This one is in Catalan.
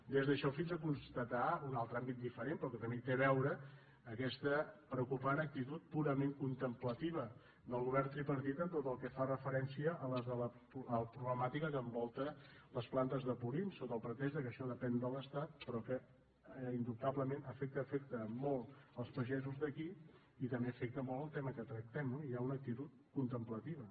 des d’això fins a constatar un altre àmbit diferent però que també hi té a veure aquesta preocupant actitud purament contemplativa del govern tripartit en tot el que fa referència a la problemàtica que envolta les plantes de purins sota el pretext que això depèn de l’estat però que indubtablement afecta molt els pagesos d’aquí i també afecta molt el tema que trac·tem hi ha una actitud contemplativa